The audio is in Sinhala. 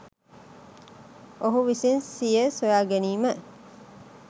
ඔහු විසින් සිය සොයාගැනීම